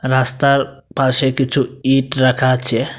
রাস্তার পাশে কিছু ইট রাখা আছে।